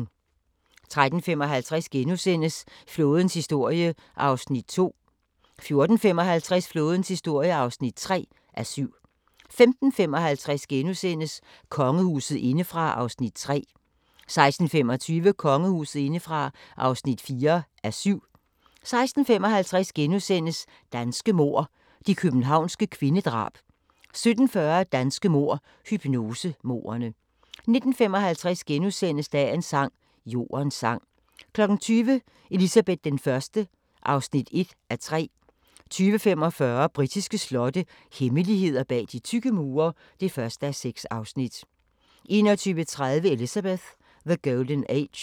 13:55: Flådens historie (2:7)* 14:55: Flådens historie (3:7) 15:55: Kongehuset indefra (3:7)* 16:25: Kongehuset indefra (4:7) 16:55: Danske mord – de københavnske kvindedrab * 17:40: Danske mord – hypnosemordene 19:55: Dagens sang: Jordens sang * 20:00: Elizabeth I (1:3) 20:45: Britiske slotte – hemmeligheder bag de tykke mure (1:6) 21:30: Elizabeth: The Golden Age